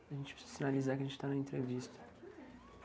A gente precisa sinalizar que a gente está na entrevista.